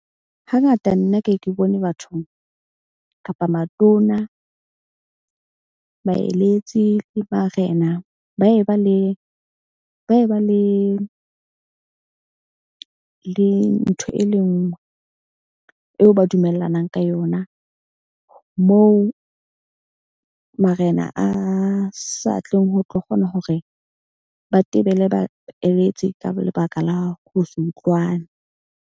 Hangata nna ke ke bone batho kapa matona, baeletsi le barena ba ye ba le ntho e le nngwe eo ba dumellanang ka yona. Moo marena a sa tleng ho tlo kgona hore ba tebele, baeletse ka lebaka la ho se utlwane.